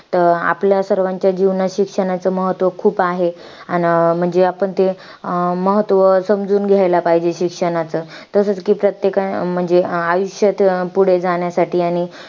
तर आपल्या सर्वांच्या जीवनांत शिक्षणाचं महत्व खूप आहे. अन म्हणजे आपण ते, महत्व समजून घ्यायला पाहिजे शिक्षणाचं. तसच कि प्रत्येकाने आयुष्यात पुढे जाण्यासाठी